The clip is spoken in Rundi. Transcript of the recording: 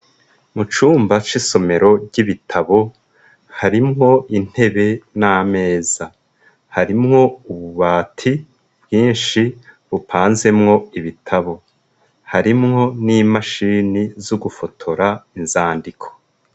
Mu cumba c'isomero ry'ibitabo harimwo intebe n'ameza harimwo ububati bwinshi bupanzemwo ibitabo harimwo n'imashini z'ugufotora inzandiko.